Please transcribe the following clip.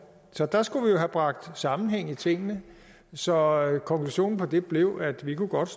så der skulle vi jo have bragt sammenhæng i tingene så konklusionen på det blev at vi godt